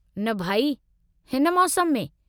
न भई, हिन मौसमु में?